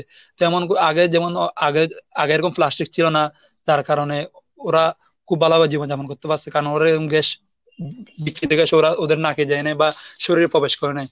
যেমন আগে যেমন আগে আগে এরকম প্লাস্টিক ছিল না তার কারণে ওরা খুব ভালোভাবে জীবন যাপন করতে পারছে কারণ ওরা এইরম gas বি~ বিক্রিতে গেছে ওরা ওদের নাকে যায় নাই বা শরীরে প্রবেশ করে নাই।